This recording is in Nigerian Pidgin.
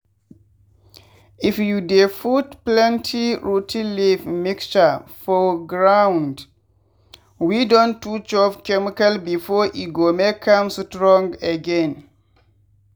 if you dey put plenty rot ten leaf mixture for ground wey don too chop chemical before e go make am strong again.